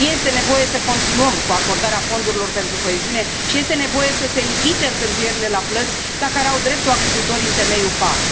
Este nevoie să continuăm cu acordarea fondurilor pentru coeziune și este nevoie să se evite întârzierile la plăți la care au dreptul agricultorii în temeiul PAC.